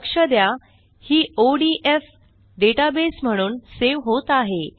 लक्ष द्या ही ओडीएफ डेटाबेस म्हणून सेव्ह होत आहे